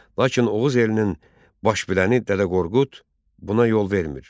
Lakin Oğuz elinin baş biləni Dədə Qorqud buna yol vermir.